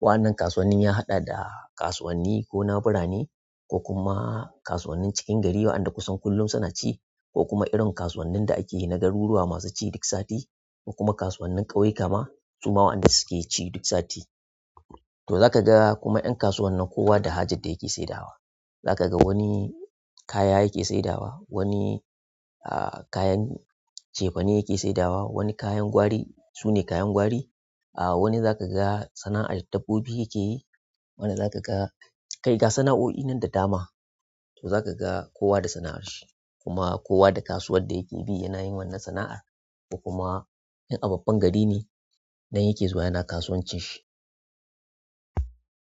Wannan kasuwannin ya haɗa da kasuwanni ko na birane ko kuma kasuwannin cikin gari waɗanda kusan kullum suna ci ko kuma irin kasuwannin da ake yi na garuruwa masu ci duk sati kuma kasuwannin ƙauyu kama su ma waɗanda suke ci duk sati. To za ka ga kuma 'yan kasuwan nan kowa da hajad da yake saidawa. Za ka ga wani kaya yake saidawa, wani ah kayan cefane yake saidawa, wani kayan gwari, su ne kayan gwari. Wani zakaga sanaar dabbobi yakeyi wani zakaga kai ga sanaoi nan da dama to za ka ga kowa da sana'ar shi kuma kowa da kasuwar da yake bi yana yin wannan sana'ar. Kuma in fduk babban gari ne nan yake zuwa yana kasuwancin shi.